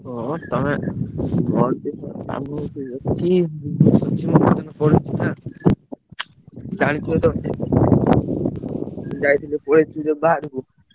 ହଁ ତମେ ।